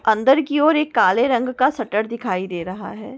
अंदर की ओर एक काले रंग का शटर दिखाई दे रहा है।